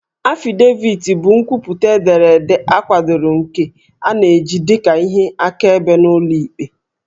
Affidavit bụ nkwupụta ederede akwadoro nke a na-eji dị ka ihe akaebe n'ụlọ ikpe